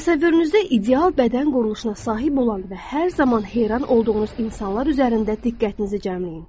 Təsəvvürünüzdə ideal bədən quruluşuna sahib olan və hər zaman heyran olduğunuz insanlar üzərində diqqətinizi cəmləyin.